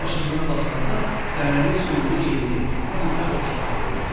Dağın başından baxanda dərənin suyunu enli, ağ ipə oxşatmaq olardı.